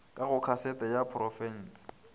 ka go kasete ya porofense